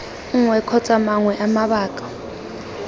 nngwe kgotsa mangwe a mabaka